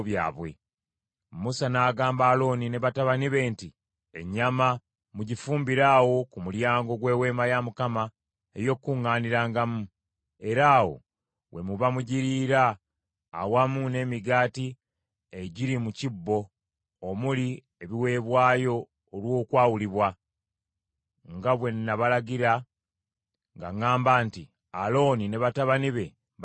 Musa n’agamba Alooni ne batabani be nti, “Ennyama mugifumbire awo ku mulyango gw’Eweema ey’Okukuŋŋaanirangamu, era awo we muba mugiriira awamu n’emigaati egiri mu kibbo omuli ebiweebwayo olw’okwawulibwa, nga bwe nabalagira nga ŋŋamba nti, ‘Alooni ne batabani be baligirya.’